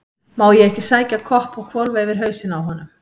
Má ég ekki sækja kopp og hvolfa yfir hausinn á honum?